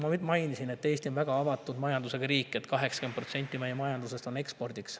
Nagu ma mainisin, Eesti on väga avatud majandusega riik, 80% meie ekspordiks.